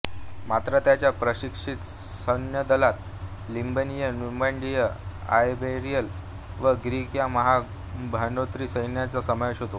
मात्र त्यांच्या प्रशिक्षित सैन्यदलात लिबियन न्युमिडियन आयबेरियन व ग्रीक या महाग भाडोत्री सैनिकांचा समावेश होतो